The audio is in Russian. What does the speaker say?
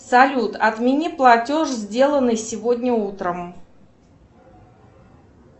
салют отмени платеж сделанный сегодня утром